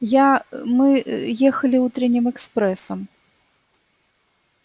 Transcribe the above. я мы ехали утренним экспрессом